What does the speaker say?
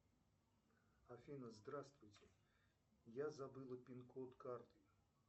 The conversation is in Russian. афина здравствуйте я забыла пин код карты